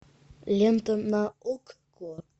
лента на окко